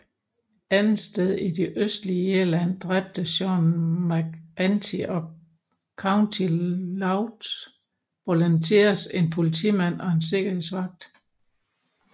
Andetsteds i det østlige Irland dræbte Séan MacEntee og County Louth Volunteers en politimand og en sikkerhedsvagt